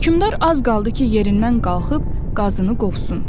Hökmdar az qaldı ki, yerindən qalxıb qazını qovsun.